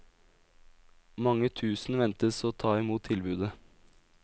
Mange tusen ventes å ta imot tilbudet.